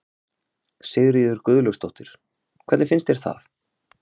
Sigríður Guðlaugsdóttir: Hvernig finnst þér það?